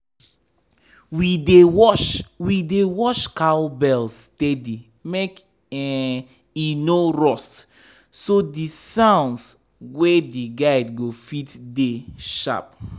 we dey wash we dey wash cowbells steady make um e no rust so the sounds wey dey guide go fit dey sharp.